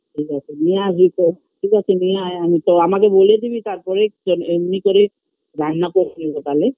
ঠিক আছে নিয়ে আসবি তো ঠিক আছে নিয়ে আয় আমি তো আমাকে বলে দিবি তার পরে জা এমনই করে রান্না বসিয়ে দেব তালে